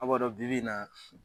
A' b'a dɔ bibi na